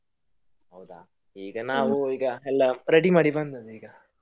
ಈಗ ನಾವು ಎಲ್ಲ ಈಗ ready ಮಾಡಿ ಬಂದದ್ದು ಈಗ.